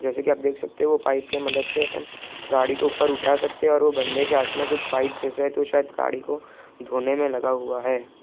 जैसे की आप देख सकते हो वो पाइप के मदद से अपन गाडी को ऊपर उठा सकते हैं और वो बन्दे के हाथ में पाइप जैसा है तो शायद गाड़ी को धोने में लगा हुआ है |